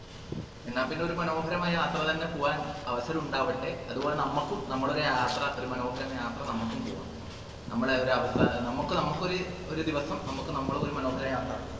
എന്നാ പിന്നെ ഒരു മനോഹരമായ യാത്ര തന്നെ പോവാൻ അവസരം ഉണ്ടാവട്ടെ അതുപോലെ നമ്മക്കും നമ്മൾ ഒരു യാത്ര ഒരു മനോഹരമായ യാത്ര നമ്മക്കും പൂവാം നമ്മളെ ഒരവസ്ഥ നമ്മക്ക് നമ്മുക്ക് ഒരു ഒരു ദിവസം നമ്മുക്ക് നമ്മളെ ഒരു മനോഹരമായ യാത്ര